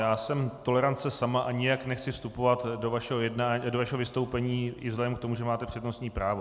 Já jsem tolerance sama a nijak nechci vstupovat do vašeho vystoupení i vzhledem k tomu, že máte přednostní právo.